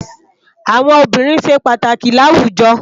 Awòn óbìrín sé pàtákì làwújò